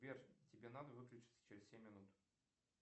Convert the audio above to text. сбер тебе надо выключится через семь минут